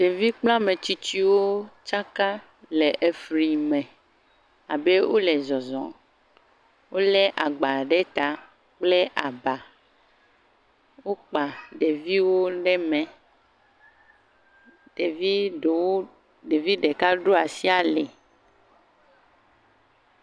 Ɖevi kple ametsitsiwo tsaka le efli me abe wole zɔzɔm. Wolé agba ɖe ta kple aba. Wokpa ɖeviwo ɖe mɛ. Ɖevi ɖeka ɖo asi ali.